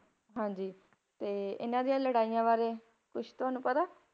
ਹਾਂਜੀ ਤੇ ਇਹਨਾਂ ਦੀਆਂ ਲੜਾਈਆਂ ਬਾਰੇ ਕੁਛ ਤੁਹਾਨੂੰ ਪਤਾ ਹੈ?